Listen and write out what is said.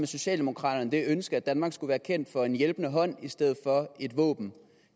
socialdemokraterne det ønske at danmark skulle være kendt for en hjælpende hånd i stedet for et våben